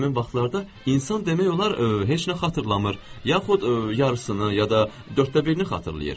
Həmin vaxtlarda insan demək olar heç nə xatırlamır, yaxud yarısını, ya da dörddə birini xatırlayır.